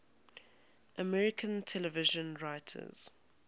american television writers